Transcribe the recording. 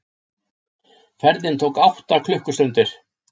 Ferðin tók átta klukkustundir.